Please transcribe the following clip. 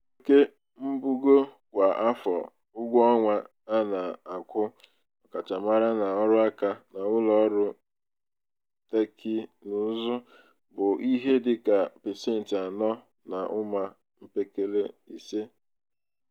oke mbugo kwa afọ ụgwọọnwa a na-akwụ ọkachamara n'ọrụaka n'ụlọọrụ tekinụzụ bụ ihe dị ka pasentị anọ na ụma mpekele ise.